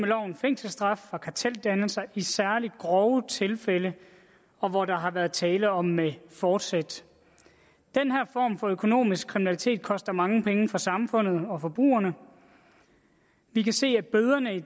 fængselsstraf for karteldannelser i særlig grove tilfælde og hvor der har været tale om forsæt den her form for økonomisk kriminalitet koster mange penge for samfundet og forbrugerne vi kan se at bøderne i